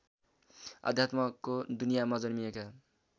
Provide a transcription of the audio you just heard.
अध्यात्मको दुनियाँमा जन्मिएका